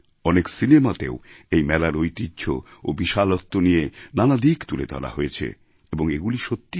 অনেক সিনেমাতেও এই মেলার ঐতিহ্য ও বিশালত্ব নিয়ে নানা দিক তুলে ধরা হয়েছে এবং এগুলো সত্যি